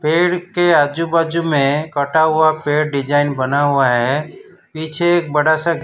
पेड़ के आजू बाजू में कटा हुआ पेड़ डिजाइन बना हुआ है पीछे एक बड़ा सा--